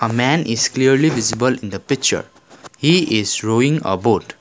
a man is clearly visible in the picture he is rowing a boat.